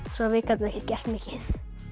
svo við gátum ekki gert mikið